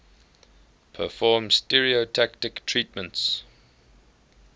perform stereotactic treatments